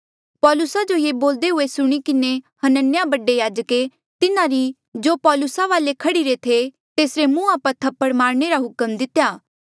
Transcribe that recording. पौलुसा जो ये बोलदे हुए सुणी किन्हें हनन्याह बडे याजके तिन्हारी जो पौलुसा वाले खड़ीरे थे तेसरे मुंहा पर थप्पड़ मारणे रा हुक्म दितेया